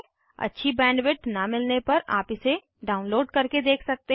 अच्छी बैंडविड्थ न मिलने पर आप इसे डाउनलोड करके देख सकते हैं